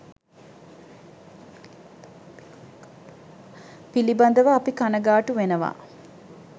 පිළිබඳව අපි කණගාටු වෙනවා.